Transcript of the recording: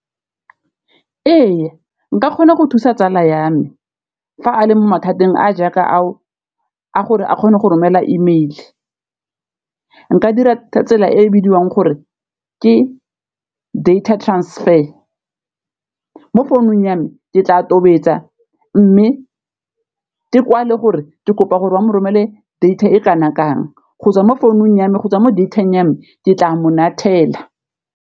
Ee nka kgona go thusa tsala ya me fa a le mo mathateng a jaaka ao a gore a kgone go romela email, nka dira tsela e e bidiwang gore ke data transfer mo founung ya me ke tla tobetsa mme ke kwale gore ke kopa gore wa mo romelwe data e kana kang, gotswa mo founung ya me gotswa mo data-ng ya me ke tla mongathela.